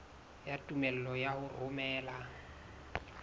ya tumello ya ho romela